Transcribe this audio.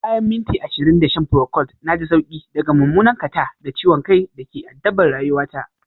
Bayan minti ashirin da shan procold na ji sauki daga mummunan catarrh da ciwon kai da ke addabar rayuwata